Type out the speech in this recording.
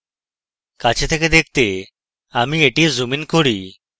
কাছে থেকে দেখতে আমি এটি zoom in করি